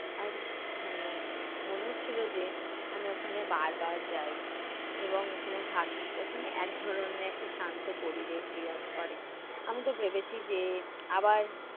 আর মানে মনে হচ্ছিলো যে, আমি ওখানে বার বার যাই এবং ওখানে থাকি। ওখানে এক ধরনের একটা শান্ত পরিবেশ বিরাজ করে। আমি তো ভেবেছি যে আবার